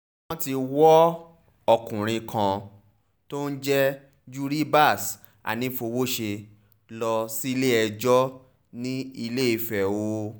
wọ́n ti wọ ọkùnrin kan tó ń jẹ́ juribas anífowóṣe lọ sílé-ẹjọ́ ní ilé-ìfẹ́ o